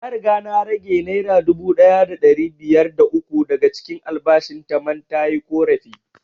Na riga na rage naira dubu ɗaya da ɗari biyar da uku daga cikin albashin ta man tayi ƙorafi